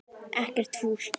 Ekkert fúsk.